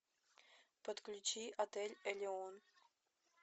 подключи отель элеон